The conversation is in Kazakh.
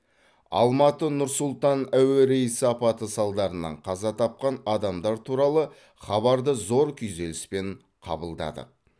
алматы нұр сұлтан әуе рейсі апаты салдарынан қаза тапқан адамдар туралы хабарды зор күйзеліспен қабылдадық